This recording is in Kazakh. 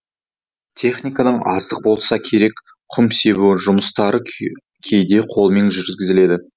техниканың аздығы болса керек құм себу жұмыстары кейде қолмен жүргізіледі